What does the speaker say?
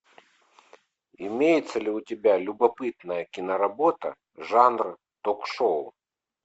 имеется ли у тебя любопытная киноработа жанра ток шоу